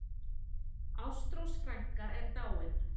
Ástrós frænka er dáin.